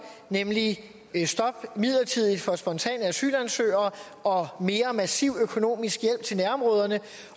nemlig et midlertidigt stop for spontane asylansøgere og mere massiv økonomisk hjælp til nærområderne